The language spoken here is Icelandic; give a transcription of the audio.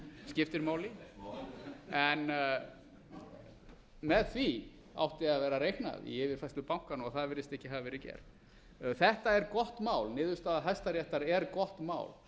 skiptir máli með því átti að vera reiknað í yfirfærslu bankanna en það virðist ekki hafa verið gert þetta er gott mál niðurstaða hæstaréttar er gott mál